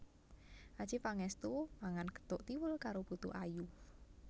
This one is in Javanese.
Adjie Pangestu mangan gethuk tiwul karo putu ayu